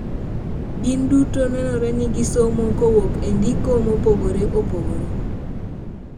gin duto nenore ni gisomo kowuok e ndiko mopogore opogore.